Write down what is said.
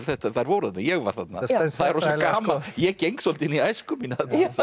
þær voru þarna ég var þarna það er rosa gaman ég geng svolítið inn í æsku mína